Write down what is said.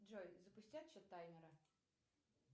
джой запусти отсчет таймера